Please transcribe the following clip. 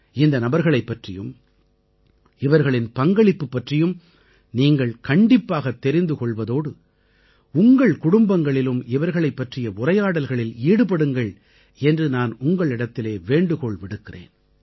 இந்த நபர்களைப் பற்றியும் இவர்களின் பங்களிப்பு பற்றியும் நீங்கள் கண்டிப்பாகத் தெரிந்து கொள்வதோடு உங்கள் குடும்பங்களிலும் இவர்களைப் பற்றிய உரையாடல்களில் ஈடுபடுங்கள் என்று நான் உங்களிடத்திலே வேண்டுகோள் விடுக்கிறேன்